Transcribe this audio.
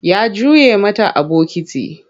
Ya juye mata a bokiti.